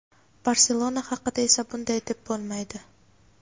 "Barselona" haqida esa bunday deb bo‘lmaydi.